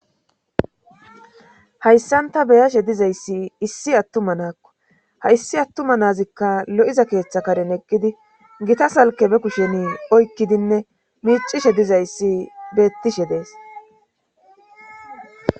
Hayssanta beyashe dizayssi issi attuma naakko ha issi attuma nazikka lo7iza keeththa karen eqkidi gita salke be kusheni oykkidinne miicishe dizayssi beettishe dees